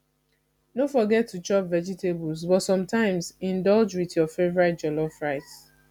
no forget to chop vegetables but sometimes indulge with your favorite jollof rice